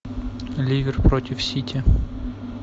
ливер против сити